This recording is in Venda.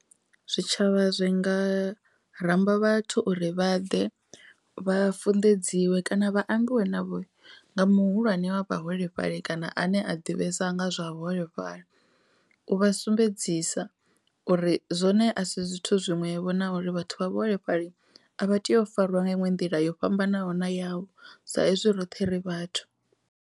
Zwitshavha zwi nga ramba vhathu uri vha ḓe vha funḓedziwe kana vha ambiwe navho nga muhulwane wa vha holefhali kana ane a ḓivhesa nga zwa vhuholefhali, u vha sumbedzisa uri zwone a si zwithu zwiṅwevho na uri vhathu vha vhuholefhali a vha tea u fariwa nga inwe nḓila yo fhambanaho na yavho sa ezwi roṱhe ri vhathu.